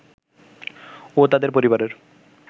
ও তাদের পরিবারের